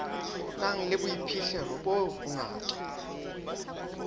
nang le boiphihlelo bo bonyane